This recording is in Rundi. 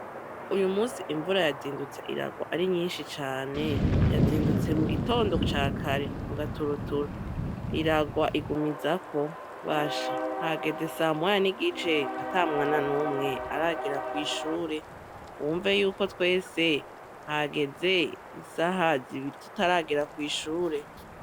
Uyu musi imvura yazindutse iragwa ari nyinshi cane, yazindutse mu gitondo ca kare mu gaturuturu, iragwa igumizako basha hageze samoya n'igice ata mwana n'umwe aragera kw'ishure, wumve yuko twese hageze isaha zibiri tutaragera kw'ishure.